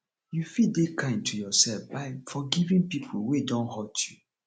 you fit de kind to yourself by forgiving pipo wey don hurt you